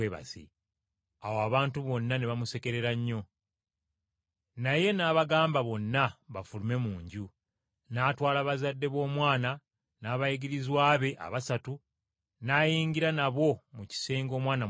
Awo abantu bonna ne bamusekerera nnyo. Naye n’abagamba bonna bafulume mu nju. N’atwala abazadde b’omwana n’abayigirizwa be abasatu n’ayingira nabo mu kisenge omwana mwe yali.